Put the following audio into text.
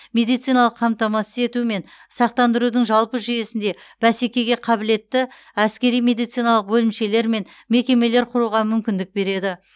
медициналық қамтамасыз ету мен сақтандырудың жалпы жүйесінде бәсекеге қабілетті әскери медициналық бөлімшелер мен мекемелер құруға мүмкіндік береді